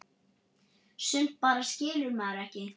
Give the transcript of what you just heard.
Sumt bara skilur maður ekki.